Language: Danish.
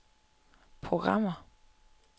programmer